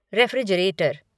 refrigerator